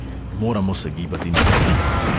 Moramo se gibati naprej.